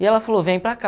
E ela falou, vem para cá.